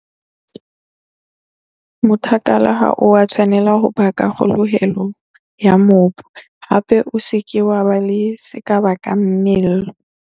Mothakala ha o a tshwanela ho baka kgoholeho ya mobu, hape o se ke wa ba le se ka bakang mello.